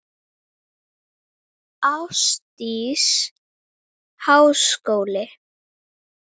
Ásdís: Háskóli?